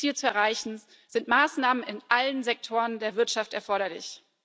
Um dieses Ziel zu erreichen, sind Maßnahmen in allen Sektoren der Wirtschaft erforderlich.